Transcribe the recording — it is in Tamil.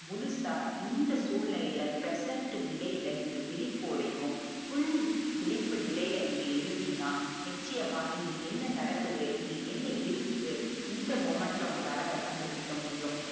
முழுசா இந்த சூழ்நிலைல present நிலைல நீங்க விழிபோடையும் full விழிப்பு நிலைல நீங்க இருந்தீங்கனா நிச்சியமா இங்க என்ன நடக்குது இங்க என்ன இருக்குது இந்த moment ல உங்களால அத கண்டுபுடிக்க முடியும்